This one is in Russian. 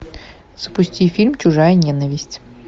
запусти фильм чужая ненависть